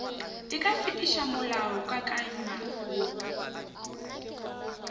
e ka fetiša molaokakanywa woo